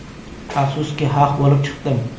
Afsuski, haq bo‘lib chiqdim.